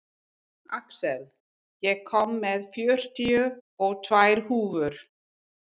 Axel, ég kom með fjörutíu og tvær húfur!